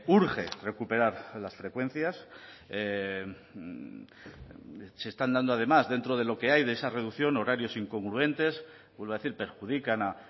urge recuperar a las frecuencias se están dando además dentro de lo que hay de esa reducción horarios incongruentes vuelvo a decir perjudican a